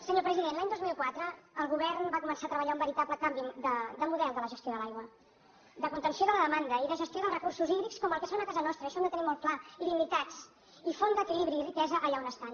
senyor president l’any dos mil quatre el govern va començar a treballar un veritable canvi de model de la gestió de l’aigua de contenció de la demanda i de gestió dels recursos hídrics com el que són a casa nostra i això ho hem de tenir molt clar limitats i font d’equilibri i riquesa allà on estan